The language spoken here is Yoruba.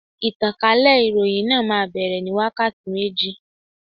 Ìtànkálẹ̀ ìròhìn náà má bere ní wákàtí méjì.